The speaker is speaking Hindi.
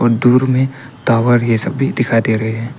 दुर में टावर यह सभी दिखाई दे रहे--